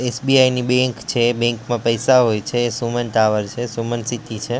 SBI ની bank છે bank માં પૈસા હોય છે સુમન ટાવર છે સુમન સીટી છે.